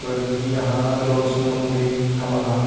कोई भी इंहा लोन सम्बंधित हमन ह --